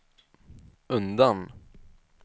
undan